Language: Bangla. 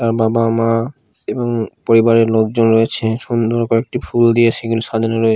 তার বাবা মা এবং পরিবারের লোকজন রয়েছে সুন্দর কয়েকটি ফুল দিয়ে সেগুলো সাজানো রয়ে--